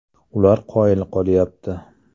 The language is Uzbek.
Ular qoyil qolyapti.